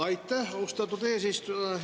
Aitäh, austatud eesistuja!